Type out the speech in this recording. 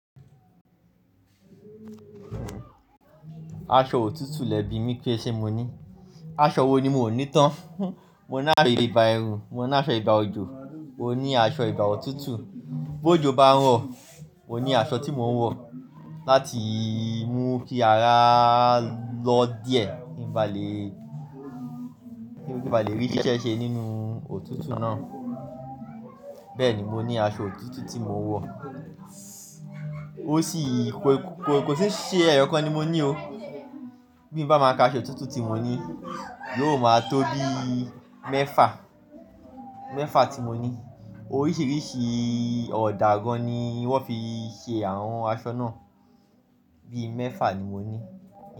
Aṣọ òtútù lẹ́bi mi pé ṣe mo ní, aṣọ wo ni mo ní tán. Mo ní àso ìgbà ẹrù, mo ní aṣọ ìgbà òjò, mo ní aṣọ ìgbà òtútù. Bó jó bá ń rọ̀, mo ní aṣọ tí mo ń wọ̀ láti mú kí ara lọ́ díẹ̀ kí ń ba lè rí ṣeṣe nínú òtútù náà. Bẹ́ẹ̀ni mo ní aṣọ òtútù tí mo ń wọ̀. Ó sì kò sí ṣe ẹyọ kan ni mo ní o. Bí mo bá máa ka aṣọ òtútù tí mo ní, yóò máa tó bí mẹ́fà, mẹ́fà tí mo ní. Oríṣiríṣi ọ̀dà gan-an ni wọ́n fi ṣe àwọn aṣọ náà. Bí mẹ́fà ni mo ní.